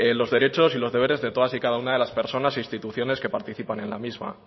los derechos y lo deberes de todas y cada una de las personas e instituciones que participan en la misma